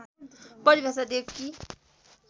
परिभाषा दिए कि